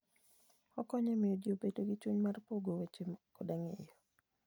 Okonyo e miyo ji obed gi chuny mar pogo weche koda ng'eyo.